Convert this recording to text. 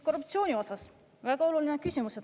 Korruptsiooni osas on väga oluline küsimus.